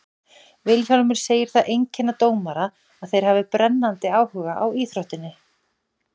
Vilhjálmur segir það einkenna dómara að þeir hafi brennandi áhuga á íþróttinni.